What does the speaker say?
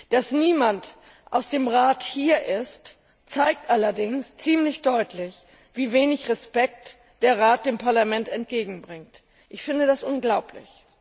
Dass niemand aus dem Rat hier ist, zeigt allerdings ziemlich deutlich, wie wenig Respekt der Rat dem Parlament entgegenbringt. Ich finde das unglaublich!